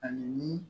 Ani ni